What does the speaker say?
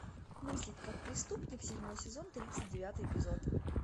мыслить как преступник седьмой сезон тридцать девятый эпизод